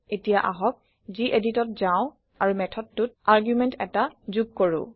এতিয়া আহক গেদিত যাওঁ আৰু মেথডটোত আৰগুমেণ্ট এটা যোগ কৰো